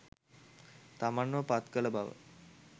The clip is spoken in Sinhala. තමන්ව පත්කළ බව